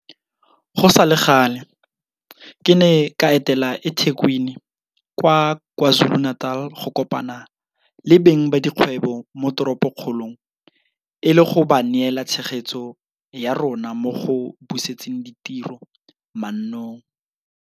Go sale gale, ke ne ka etela eThekwini kwa KwaZuluNatal go kopana le beng ba dikgwebo mo toropokgolong e le go ba neela tshegetso ya rona mo go busetseng ditiro mannong.